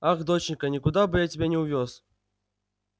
ах доченька никуда бы я тебя не увёз